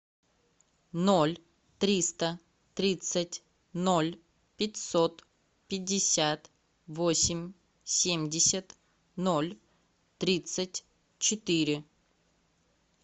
ноль триста тридцать ноль пятьсот пятьдесят восемь семьдесят ноль тридцать четыре